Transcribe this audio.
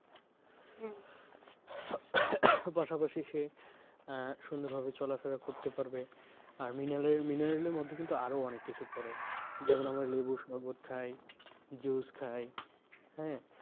পাশা পাশি সে আহ সুন্দরভাবে চলা ফেরা করতে পারবে আর minel, mineral এর মধ্যে কিন্তু আরো অনেক কিছু পরে যেমন আমরা লেবুর শরবত খাই juice খাই হ্যাঁ?